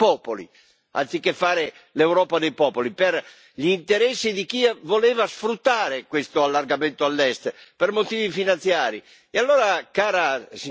Si è innescata una guerra fra popoli, anziché fare l'Europa dei popoli, per gli interessi di chi voleva sfruttare questo allargamento all'Est per motivi finanziari.